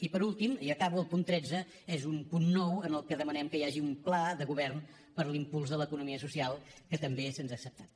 i per últim i acabo el punt tretze és un punt nou en què demanem que hi hagi un pla de govern per a l’impuls de l’economia social que també se’ns ha acceptat